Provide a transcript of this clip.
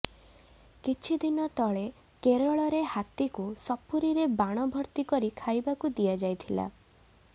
କିଛି ଦିନ ତଳେ କେରଳରେ ହାତୀକୁ ସପୁରୀରେ ବାଣ ଭର୍ତ୍ତି କରି ଖାଇବାକୁ ଦିଆଯାଇଥିଲା